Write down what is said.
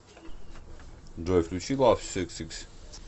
джой включи лавсикссикс